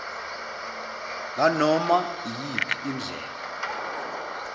nganoma iyiphi indlela